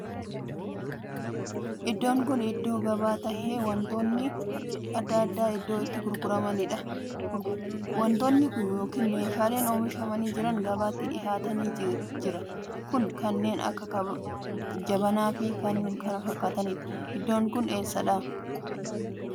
Iddoon kun iddoo gabaa tahee wantoonni addaa addaa iddoo itti gurguraamaniidha. wantoonni ykn meeshaaleen oomishamanii jiranii gabaatti dhihaatanii jira kun; kannee akka jabanaa Fi kan kana fakkaataniidha. Iddoon kun eessadha? eessatti oomishamee jettee yaadda?